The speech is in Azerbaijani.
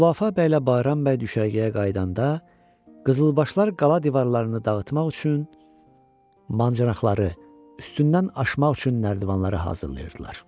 Xülafə bəylə Bayram bəy düşərgəyə qayıdanda Qızılbaşlar qala divarlarını dağıtmaq üçün mancıraqları, üstündən aşmaq üçün nərdivanları hazırlayırdılar.